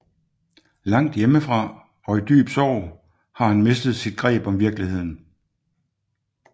Langt hjemmefra og i dyb sorg har han mistet sit greb om virkeligheden